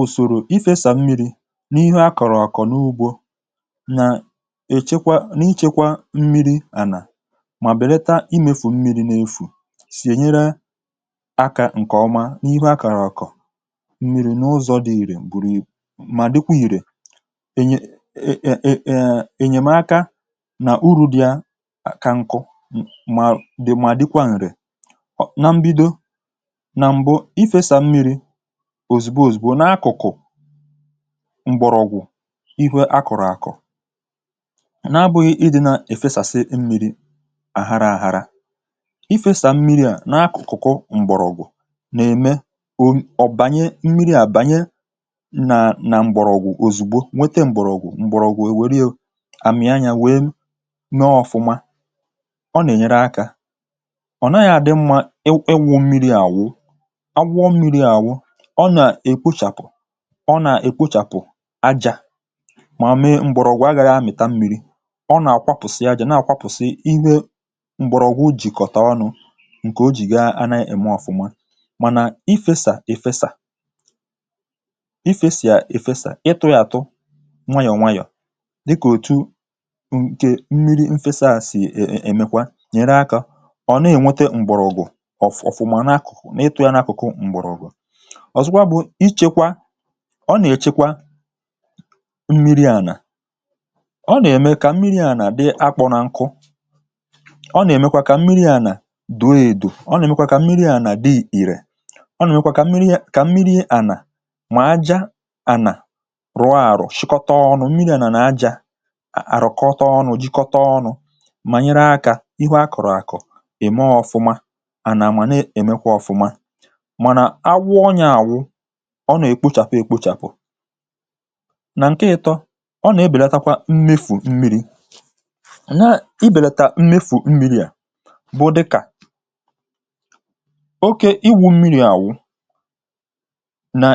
Ụsọ̀rò Ịfesa Mmirī na Ịgba Mmirī N’ọrụ Ugbo E nwere ọtụtụ ụzọ esi efesa mmirī n’ala ọrụ ugbo tupu e kụọ ihe. Ụzọ ndị a na-enyere aka ichekwa mmirī ma belata mmefù ya. Ha na-eme ka ala dị mma ma nyere ihe ubi aka ito nke ọma tupu oge mmiri malite.